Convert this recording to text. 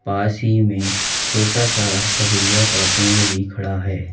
पास ही में छोटा सा खजुरिया का पेड़ भी खड़ा है।